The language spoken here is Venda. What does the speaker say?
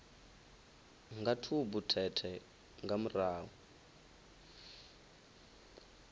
nga tshubu thethe nga murahu